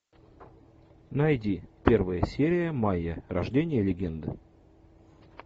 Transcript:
найди первая серия майя рождение легенды